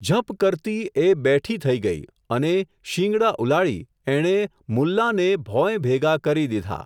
ઝપ કરતી, એ, બેઠી થઈ ગઈ, અને, શિંગડાં ઉલાળી, એણે, મુલ્લાંને, ભોંયભેગા, કરી દીધા.